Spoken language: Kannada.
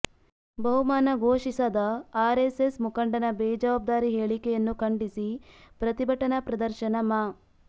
ಬಹುಮಾನ ಘೋಷಿಸದ ಆರ್ಎಸ್ಎಸ್ ಮುಖಂಡನ ಬೇಜವಬ್ದಾರಿ ಹೇಳಿಕೆಯನ್ನು ಖಂಡಿಸಿ ಪ್ರತಿಭಟನಾ ಪ್ರದರ್ಶನ ಮಾ